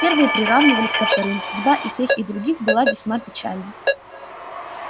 первые приравнивались ко вторым судьба и тех и других была весьма печальна